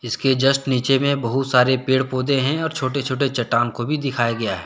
इसके जस्ट नीचे में बहुत सारे पेड़ पौधे हैं और छोटे छोटे चट्टान को भी दिखाया गया है।